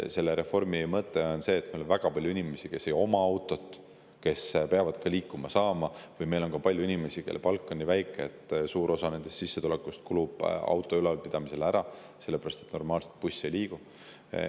See reform on, et meil on väga palju inimesi, kes ei oma autot, aga kes peavad ka liikuma saama, ja meil on palju inimesi, kelle palk on nii väike, et suur osa nende sissetulekust kulub auto ülalpidamisele, sest buss normaalselt ei liigu.